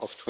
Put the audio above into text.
of